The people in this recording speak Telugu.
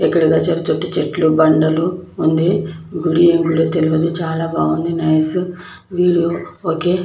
ఇక్కడ చ చెట్లున్నాయి. గుడి బండలు ఉంది. గుడి ఆ గుడి ఆ తెలవదు చాలా బాగుంది. నైస్ వీళ్ళు ఓకే --